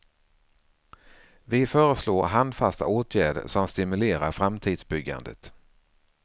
Vi föreslår handfasta åtgärder som stimulerar framtidsbyggandet.